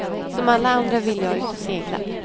Som alla andra vill jag ut och segla.